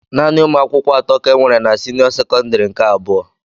Naanị umuakwukwo atọ ka enwere na senio sekondari nke abụọ.